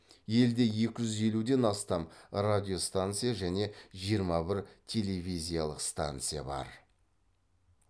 елде екі жүз елуден астам радиостанция және жиырма бір телевизиялық станция бар